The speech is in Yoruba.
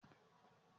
Akin fọ́ ìgò mẹ́wàá.